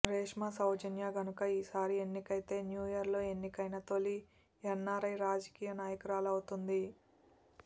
రేష్మ సౌజన్య గనుక ఈ సారీ ఎన్నికైతే న్యూయార్ లో ఎన్నికైన తోలి ఎన్ఆర్ఐ రాజకీయ నాయకురాలు అవుతుంది